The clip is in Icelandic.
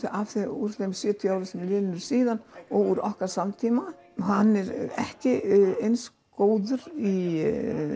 úr þeim sjötíu árum sem eru liðin síðan úr okkar samtíma hann er ekki eins góður í